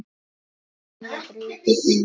HVERJU BREYTIR ÞAÐ?